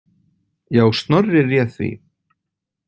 Já, Snorri réð því.